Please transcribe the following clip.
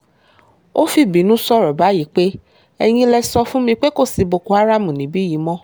ó fìbínú sọ̀rọ̀ báyìí pé ẹ̀yin lè sọ fún mi pé kò sí boko haram níbí yìí mọ́